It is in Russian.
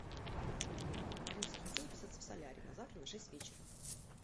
алиса хочу записаться в солярий на завтра на шесть вечера